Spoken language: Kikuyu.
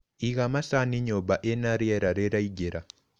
Iga macani nyũmba ĩna riera rĩraingĩra.